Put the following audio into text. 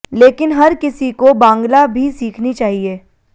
लेकिन हर किसी को बांग्ला भी सीखनी चाहिए